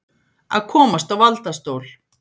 Að komast á valdastól